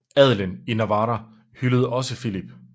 Adelen i Navarra hyldede også Filip